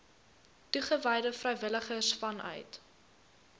toegewyde vrywilligers vanuit